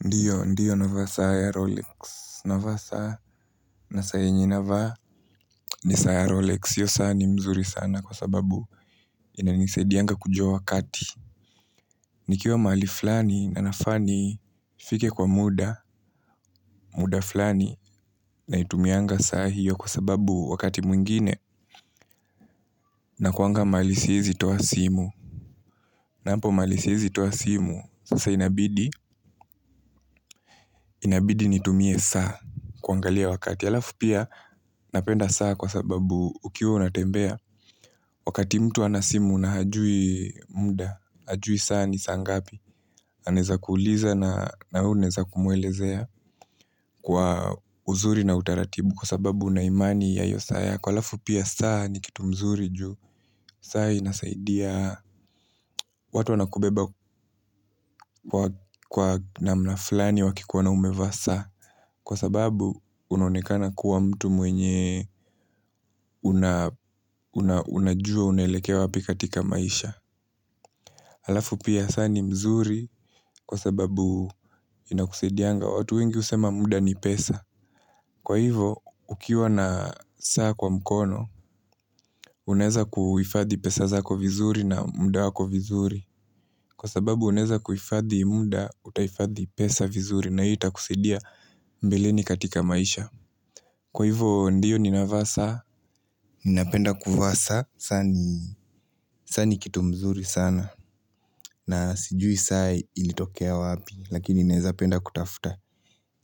Ndiyo, ndiyo navaa sa ya Rolex, navaa saa na saa yenye navaa ni saya Rolex. Hiyo saa ni mzuri sana kwa sababu inanisaidianga kujua wakati. Nikiwa mahali fulani na nafaa nifike kwa muda, muda flani, naitumianga saa hiyo kwa sababu wakati mwingine nakuanga mbali siwezi toa simu. Na hapo mahali siwezi toa simu, sasa inabidi, inabidi nitumie saa kuangalia wakati. Halafu pia napenda saa kwa sababu ukiwa unatembea wakati mtu hana simu na hajui mda, hajui saa ni saa ngapi. Anaweza kuuliza na we unaweza kumwelezea kwa uzuri na utaratibu kwa sababu una imani ya hiyo saa yako. Kwa halafu pia saa ni kitu mzuri juu saa inasaidia watu wana kubeba kwa namna fulani wakikuona umevaa saa kwa sababu unaonekana kuwa mtu mwenye unajua unaelekea wapi katika maisha. Halafu pia saa ni mzuri kwa sababu inakusaidianga, watu wengi husema muda ni pesa, kwa hivo ukiwa na saa kwa mkono unaweza kuhifadhi pesa zako vizuri na muda wako vizuri. Kwa sababu unaweza kuhifadhi muda, utahifadhi pesa vizuri na hiyo itakusaidia mbeleni katika maisha. Kwa hivo ndiyo ninavaa saa. Ninapenda kuvaa saa, saa ni kitu mzuri sana na sijui saa ilitokea wapi, lakini naweza penda kutafuta.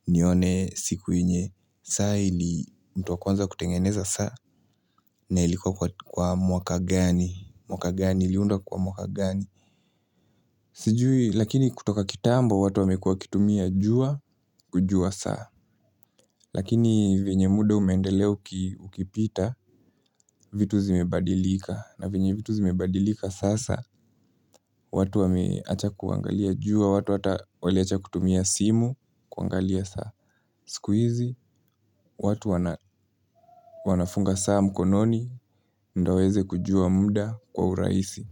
Nione siku yenye saa ili, mtu wa kwanza kutengeneza saa, na ilikuwa kwa mwaka gani, mwaka gani, iliundwa kwa mwaka gani. Sijui, lakini kutoka kitambo watu wamekuwa wakitumia jua kujua saa. Lakini venye muda umeendelea ukipita, vitu zimebadilika na venye vitu zimebadilika sasa, watu wameacha kuangalia jua watu hata waliwacha kutumia simu kuangalia saa. Siku hizi watu wana wanafunga saa mkononi, ndo waweze kujua muda kwa urahisi.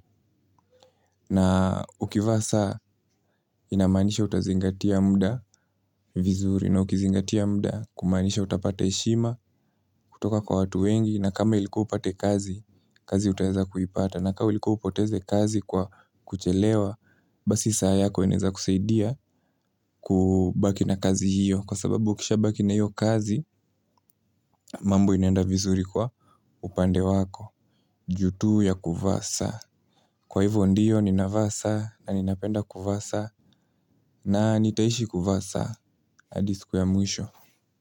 Na ukivaa saa inamaanisha utazingatia mda vizuri na ukizingatia mda kumaanisha utapata heshima kutoka kwa watu wengi na kama ilikuwa upate kazi, kazi utaweza kuipata. Na ka ilikuwa upoteze kazi kwa kuchelewa, basi saa yako inaweza kusaidia kubaki na kazi hiyo. Kwa sababu ukisha baki na hiyo kazi, mambo inaenda vizuri kwa upande wako. Juu tu ya kuvaa saa. Kwa hivyo ndiyo ninavaa saa na ninapenda kuvaa saa. Na nitaishi kuvaa saa hadi siku ya mwisho.